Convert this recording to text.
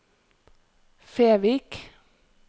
Fevik